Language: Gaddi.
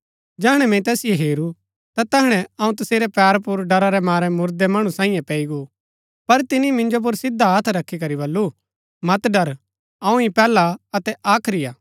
जैहणै मैंई तैसिओ हेरू ता तैहणै अऊँ तसेरै पैर पुर डरा रै मारै मुरदै मणु सांईये पैई गो पर तिनी मिंजो पुर सीधा हथ रखी करी बल्लू मत डर अऊँ ही पैहला अतै आखरी हा